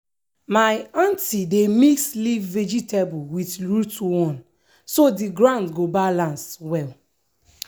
my aunty dey mix leaf vegetable with root one so the ground go balance well.